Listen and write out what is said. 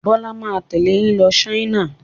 Bọ́lá máa tẹ̀lé yín lọ China.